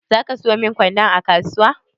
Zaki sayo min kwando a kasuwa?